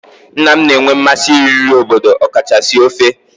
Nna m na-enwe mmasị iri nri obodo okachasị ofe